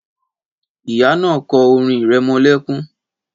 Ìyá náà kọ́ orin irẹmọlẹ́kún